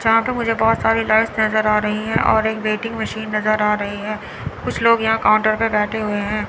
यहां पे मुझे बहुत सारी लाइट्स नजर आ रही हैं और एक वेटिंग मशीन नजर आ रही है कुछ लोग यहां काउंटर पे बैठे हुए हैं।